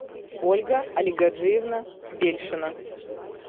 ольга алигаджиевна бельшина